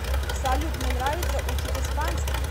салют мне нравится учить испанский